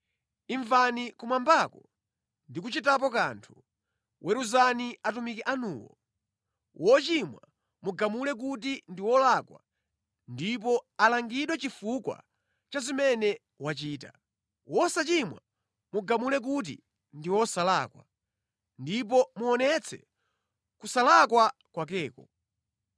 imvani kumwambako ndi kuchitapo kanthu. Weruzani atumiki anuwo, wochimwa mugamule kuti ndi wolakwa ndipo alangidwe chifukwa cha zimene wachita. Wosachimwa mugamule kuti ndi wosalakwa, ndipo muonetse kusalakwa kwakeko.